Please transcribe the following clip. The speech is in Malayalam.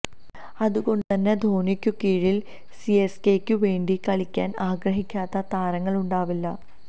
അതുകൊണ്ടു തന്നെ ധോണിക്കു കീഴില് സിഎസ്കെയ്ക്കു വേണ്ടി കളിക്കാന് ആഗ്രഹിക്കാത്ത താരങ്ങളുണ്ടാവില്ല